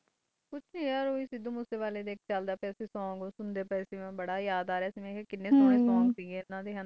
ਕੁਜ ਨਹੀਂ ਸਿੱਧੂ ਮੂਸਾ ਵਾਲੇ ਦਾ ਸੋਂਗ ਚਾਲ ਰਿਹਾ ਉਹ ਸੇ ਉਹ ਸੁਨ ਰਹੀ ਸੇ ਮੈਨੂੰ ਬੋਥ ਯਾਦ ਆ ਰਿਹਾ ਸੇ ਕਿਨੈ ਅੱਛੇ ਸੋਂਗ ਸੇ ਕਿਨੈ ਸੋਨੇ ਸੋਂਗ ਸੇ ਓਹਨਾ ਡੇ